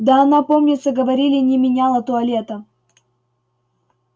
да она помнится говорили не меняла туалета